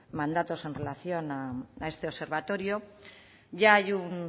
mandatos en relación a este observatorio ya hay un